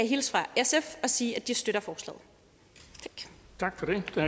hilse fra sf og sige at de støtter forslaget tak